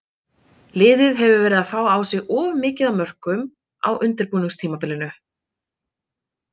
Liðið hefur verið að fá á sig of mikið á mörkum á undirbúningstímabilinu.